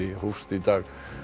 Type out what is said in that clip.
hófst í dag